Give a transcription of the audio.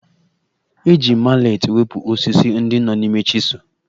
E ji maletị wepụ osisi ndị nọ n'ime chisel